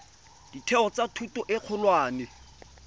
ditheo tsa thuto e kgolwane